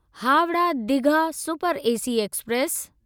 Howrah Digha super AC express